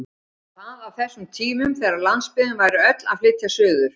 Og það á þessum tímum þegar landsbyggðin væri öll að flytja suður!